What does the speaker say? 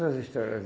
outras histórias